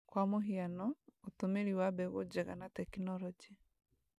Kwa mũhiano, ũtũmĩri wa mbegũ njega na tekinoronjĩ